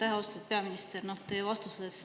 Aitäh, austatud peaminister!